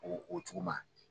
Ɔ o cogo ma.